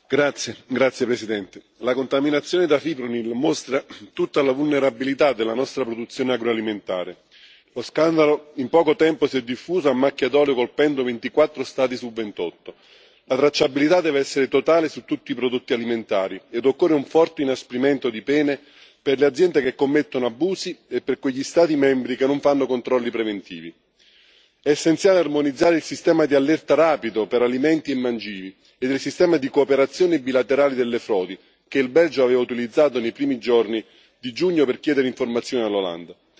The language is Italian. Signor Presidente, onorevoli colleghi, la contaminazione da fipronil mostra tutta la vulnerabilità della nostra produzione agroalimentare. Lo scandalo in poco tempo si è diffuso a macchia d'olio, colpendo 24 Stati su 28. La tracciabilità deve essere totale su tutti i prodotti alimentari e occorre un forte inasprimento di pene per le aziende che commettono abusi e per quegli Stati membri che non fanno controlli preventivi. È essenziale armonizzare il sistema di allerta rapido per alimenti e mangimi e del sistema di cooperazione bilaterale sulle frodi, che il Belgio aveva utilizzato nei primi giorni di giugno per chiedere informazioni all'Olanda.